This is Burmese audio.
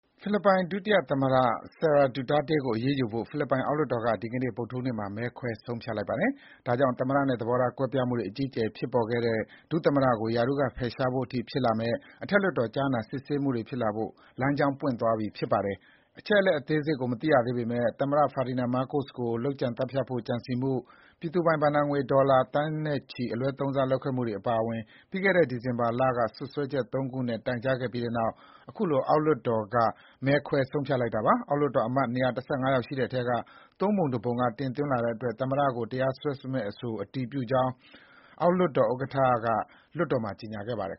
ဖိလစ်ပိုင်ဒုတိယသမ္မတ Sara Duterte ကို အရေးယူဖို့ ဖိလစ်ပိုင်အောက်လွှတ်တော်က ဒီကနေ့ ဗုဒ္ဓဟူးနေ့မှာ မဲခွဲဆုံးဖြတ်လိုက်ပါတယ်။ ဒါကြောင့် သမ္မတနဲ့ သဘောထားကွဲပြားမှုတွေ အကြီးအကျယ် ဖြစ်ပေါ်ခဲ့တဲ့ ဒုသမ္မတကို ရာထူးကဖယ်ရှားဖို့အထိဖြစ်လာမယ့် အထက်လွှတ်တော် ကြားနာစစ်ဆေးမှု တွေဖြစ်လာဖို့ လမ်းကြောင်းပွင့်သွားပြီ ဖြစ်ပါတယ်။ အချက်အလက်အသေးစိတ်ကိုမသိရသေးပေမဲ့ သမ္မတ Ferdinand Marcos ကို လုပ်ကြံသတ်ဖြတ်ဖို့ ကြံစည်မှု၊ ပြည်သူပိုင်ဘဏ္ဍာငွေ ဒေါ်လာသန်းနဲ့ချီ အလွဲသုံးစားလုပ်ခဲ့မှုအပါအဝင် ပြီးခဲ့တဲ့ ဒီဇင်ဘာလ က စွပ်စွဲချက် ၃ ခုနဲ့ တိုင်ကြားခဲ့ပြီးနောက် အခုလို အောက်လွှတ်တော်က မဲခွဲ ဆုံးဖြတ်လိုက်တာပါ။ အောက်လွှတ်တော်အမတ် ၂၁၅ ယောက်ရှိတဲ့အထဲက ၃ ပုံ ၁ ပုံက တင်သွင်းလာတဲ့အတွက် ဒုသမ္မတကိုတရားစွဲမယ့်အဆိုကို အတည်ပြုကြောင်း အောက်လွှတ်တော်ဥက္ကဋ္ဌ Martin Romualdez က လွှတ်တော်မှာ ကြေညာခဲ့ပါတယ်